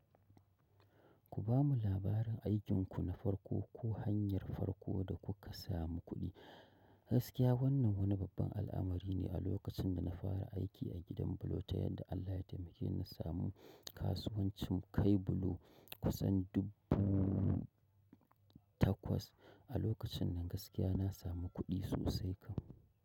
Ku ba mu labarin aikinku na farko ko hanyar farko da kuka samu kuɗi. Gaskiya wannan wani babban al'amari ne a lokacin da na fara aiki a gidan bulo ta yadda Allah ya taimake ni na samu kasuwancin kai bulo kusan dubu takwas. A lokacin nan gaskiya na samu kuɗi sosai kam.